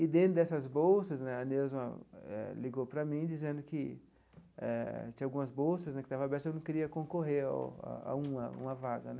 E, dentro dessas bolsas né, a Neuza eh ligou para mim, dizendo que eh tinha algumas bolsas né que estavam abertas e eu não queria concorrer a a uma uma vaga né.